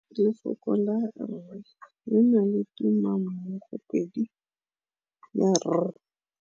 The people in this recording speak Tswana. Lefoko la rre le na le tumammogôpedi ya, r.